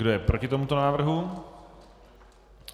Kdo je proti tomuto návrhu?